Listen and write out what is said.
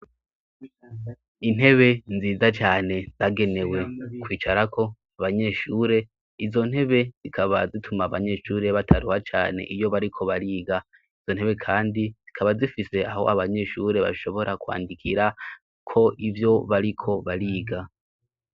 Intebe nziza cane zagenewe kwicarako abanyeshure. Izo ntebe, zikaba zituma abanyeshure bataruha cane iyo bariko bariga. Izo ntebe kandi, zikaba zifise aho abanyeshure bashobora kwandikirako ivyo bariko bariga.